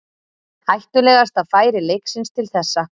Hættulegasta færi leiksins til þessa.